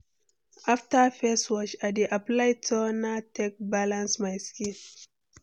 After face wash, I dey apply toner take balance my skin.